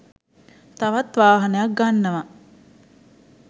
තවත් වාහනයක් ගන්නව